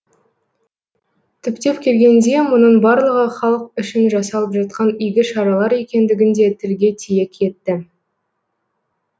түптеп келгенде мұның барлығы халық үшін жасалып жатқан игі шаралар екендігін де тілге тиек етті